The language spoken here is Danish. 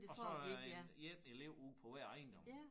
Og så øh én elev ude på hver ejendom